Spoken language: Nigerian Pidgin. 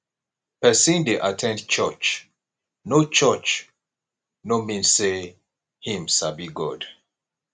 persin de at ten d church no church no mean say him sabi god